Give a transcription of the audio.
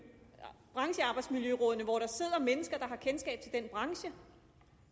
branchearbejdsmiljørådene hvor der sidder mennesker der har kendskab til den enkelte branche